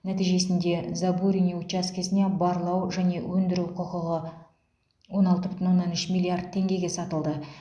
нәтижесінде забурунье учаскесіне барлау және өндіру құқығы он алты бүтін оннан үш миллиард теңгеге сатылды